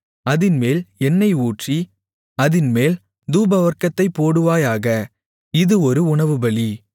அதின்மேல் எண்ணெய் ஊற்றி அதின்மேல் தூபவர்க்கத்தைப் போடுவாயாக இது ஒரு உணவுபலி